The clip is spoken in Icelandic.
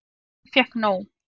Ég fékk nóg.